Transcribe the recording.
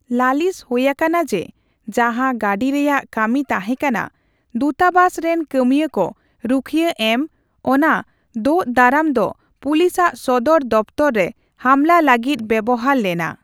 ᱞᱟᱹᱞᱤᱥ ᱦᱩᱭ ᱟᱠᱟᱱᱟ ᱡᱮᱹ, ᱡᱟᱦᱟᱸ ᱜᱟᱹᱰᱤ ᱨᱮᱭᱟᱜ ᱠᱟᱹᱢᱤ ᱛᱟᱦᱮᱸᱠᱟᱱᱟ ᱫᱩᱛᱟᱵᱟᱥ ᱨᱮᱱ ᱠᱟᱹᱢᱭᱟᱹ ᱠᱚ ᱨᱩᱠᱷᱤᱭᱟᱹ ᱮᱢ, ᱚᱱᱟ ᱫᱳᱜ ᱫᱟᱨᱟᱢ ᱫᱚ ᱯᱩᱞᱤᱥ ᱟᱜ ᱥᱚᱫᱚᱨ ᱫᱚᱯᱷᱛᱚᱨ ᱨᱮ ᱦᱟᱢᱞᱟ ᱞᱟᱹᱜᱤᱫ ᱵᱮᱣᱦᱟᱨ ᱞᱮᱱᱟ᱾